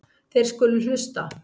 Þeir skulu hlusta.